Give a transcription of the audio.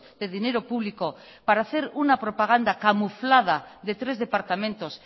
dedinero público para hacer una propaganda camuflada de tres departamentos